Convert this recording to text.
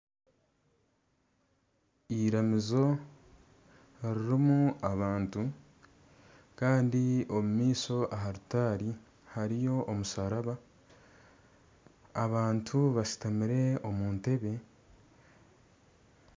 Eramizo eririmu abantu kandi omumaisho aha rutaari hariyo omusharaba, abantu bashutamire omu ntebe.